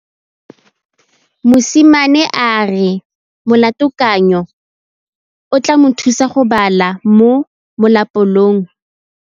Mosimane a re molatekanyô o tla mo thusa go bala mo molapalong.